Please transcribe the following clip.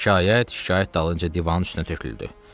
Şikayət şikayət dalınca divanın üstünə töküldü.